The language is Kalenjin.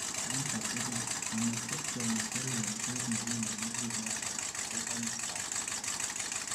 en katugul: A mastectomy ko yengset nekinemu kinet anan ko komostab kinet